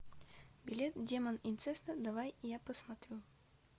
белет демон инцеста давай я посмотрю